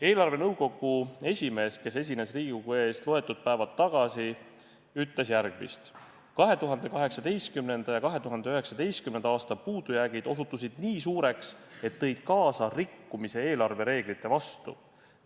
Eelarvenõukogu esimees, kes esines Riigikogu ees loetud päevad tagasi, ütles järgmist: 2018. ja 2019. aasta puudujäägid osutusid nii suureks, et tõid kaasa rikkumise eelarvereeglite vastu.